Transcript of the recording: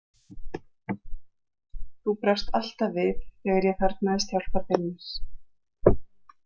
Þú brást alltaf við þegar ég þarfnaðist hjálpar þinnar.